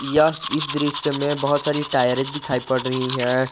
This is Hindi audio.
यह इस दृश्य में बहुत सारी टायरें दिखाई पड़ रही हैं।